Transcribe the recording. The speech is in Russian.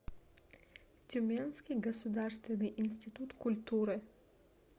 тюменский государственный институт культуры